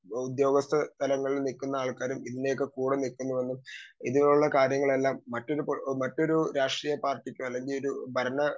speaker 2 ഉദ്യോഗസ്ഥ സ്ഥലങ്ങളിലും നിൽക്കുന്ന ആൾക്കാര് ഇതിനെയൊക്കെ കൂടെ നിൽക്കുന്നുവെന്നും ഇതിലുള്ള കാര്യങ്ങളെല്ലാം മറ്റൊരു മറ്റൊരു രാഷ്ട്രീയ പാർട്ടിക്ക് അല്ലെങ്കി ഒരു ഭരണ